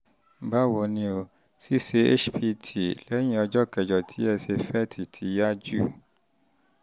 báwo ni o? ṣíṣe hpt um lẹ́yìn ọjọ́ kẹjọ ti ẹ ṣe fet ti yára jù